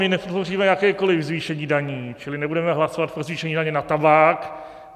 My nepodpoříme jakékoliv zvýšení daní, čili nebudeme hlasovat pro zvýšení daně na tabák.